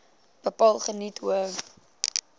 bepaal geniet hoë